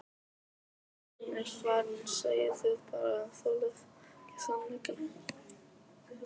Hann er farinn segið þið bara en þolið ekki sannleikann.